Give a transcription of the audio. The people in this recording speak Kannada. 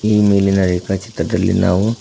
ಈ ಮೇಲಿನ ರೇಖಾ ಚಿತ್ರದಲ್ಲಿ ನಾವು--